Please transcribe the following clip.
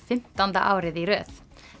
fimmtánda árið í röð